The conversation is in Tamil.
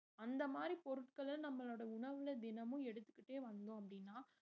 அந்த மாதிரி பொருட்கள நம்மளோட உணவுல தினமும் எடுத்துக்கிட்டே வந்தோம் அப்படின்னா